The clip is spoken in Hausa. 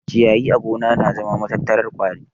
Ciyayi a gona na zama matattarar ƙwari